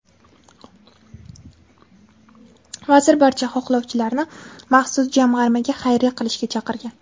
Vazir barcha xohlovchilarni maxsus jamg‘armaga xayriya qilishga chaqirgan.